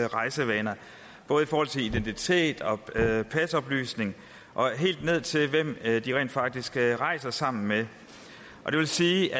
rejsevaner både i forhold til identitet og pasoplysninger og helt ned til hvem de rent faktisk rejser sammen med det vil sige